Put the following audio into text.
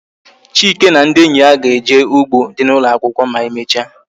Chike na ndị enyi ya ga-eje n'u3gbo dị n' ụlọakwụkwọ ma e mechaa